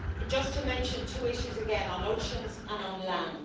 Just to mention two issues again on oceans and on land.